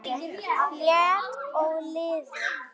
létt og liðug